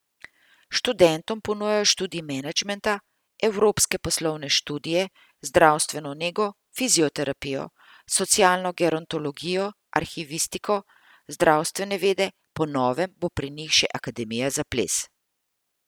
Študentom ponujajo študij menedžmenta, evropske poslovne študije, zdravstveno nego, fizioterapijo, socialno gerontologijo, arhivistiko, zdravstvene vede, po novem bo pri njih še akademija za ples.